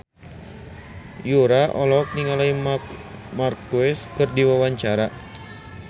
Yura olohok ningali Marc Marquez keur diwawancara